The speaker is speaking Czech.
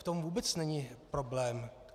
V tom vůbec není problém.